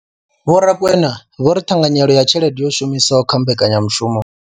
Vho Rakwena vho ri ṱhanganyelo ya tshelede yo shumiswaho kha mbekanyamushumo.